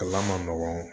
Kalan man nɔgɔn